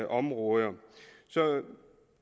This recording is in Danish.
områder